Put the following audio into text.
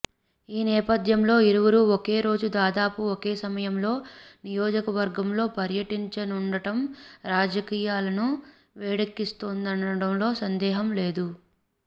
ఈ నేపథ్యంలో ఇరువురూ ఒకే రోజు దాదాపు ఒకే సమయంలో నియోజకవర్గంలో పర్యటించనుండటం రాజకీయాలను వేడెక్కిస్తుందనడంలో సందేహం లేదు